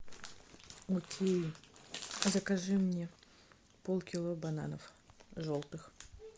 окей закажи мне пол кило бананов желтых